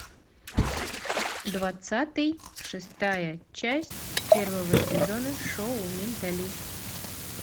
двадцатый шестая часть первого сезона шоу менталист